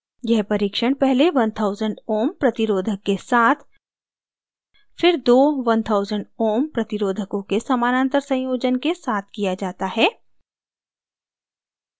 यह परीक्षण पहले 1000ω ohms प्रतिरोधक के साथ फिर दो 1000 ω ohms प्रतिरोधकों के समानांतर संयोजन के साथ किया जाता है